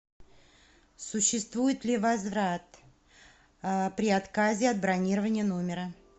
существует ли возврат при отказе от бронирования номера